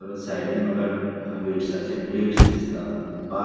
परत साइडीन मका अ वेटसाचे प्लेटस दिसता बा --